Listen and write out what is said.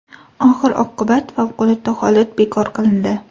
Oxir-oqibat favqulodda holat bekor qilindi.